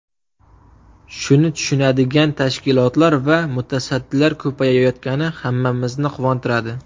Shuni tushunadigan tashkilotlar va mutasaddilar ko‘payayotgani hammamizni quvontiradi.